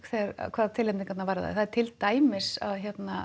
hvað tilnefningarnar varðaði til dæmis að